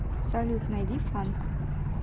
салют найди фанк